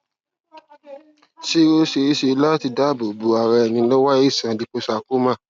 ṣé ó ṣeé ṣe láti dáàbò bo ara ẹni lọwọ aisan líposarcoma